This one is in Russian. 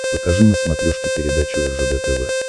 покажи на смотрешке передачу ржд тв